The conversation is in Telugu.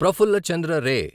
ప్రఫుల్ల చంద్ర రే